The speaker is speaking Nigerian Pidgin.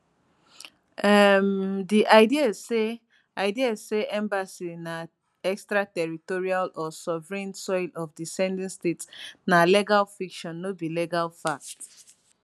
um di idea say idea say embassy na extraterritorial or sovereign soil of di sending state na legal fiction no be legal fact